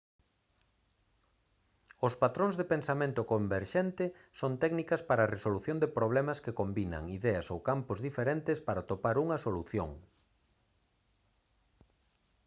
os patróns de pensamento converxente son técnicas para a resolución de problemas que combinan ideas ou campos diferentes para atopar unha solución